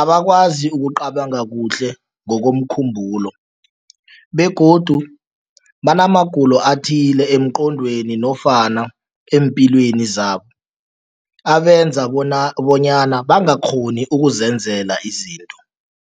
abakwazi ukucabanga kuhle ngokomkhumbulo begodu banamagulo athile emqondweni nofana eempilweni zabo, abenza bona bonyana bangakghoni ukuzenzela izinto.